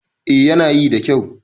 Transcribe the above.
A yana yi da kyau